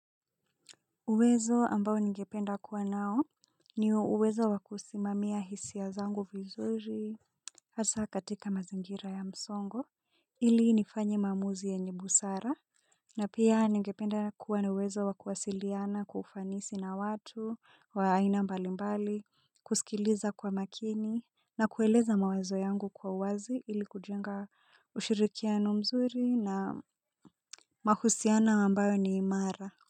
Uwezo ambao nigependa kuwa nao niyo uwezo wakusimamia hisi ya zangu vizuri. Asa katika mazingira ya msongo ili nifanye mamuzi yenye busara na pia ningependa kuwa na uwezo wakuwasiliana kwa ufanisi na watu wa aina mbali mbali. Kusikiliza kwa makini na kueleza mawazo yangu kwa uwazi ili kujenga ushirikiano mzuri na mahusino ambayo ni imara.